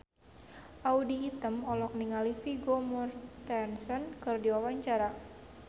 Audy Item olohok ningali Vigo Mortensen keur diwawancara